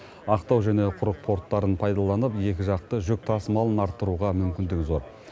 ақтау және құрық порттарын пайдаланып екіжақты жүк тасымалын арттыруға мүмкіндік зор